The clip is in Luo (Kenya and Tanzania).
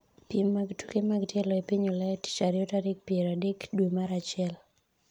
piem mag tuke mag tielo e piny Ulaya tich ariyo tarik piero adek dwe mar achiel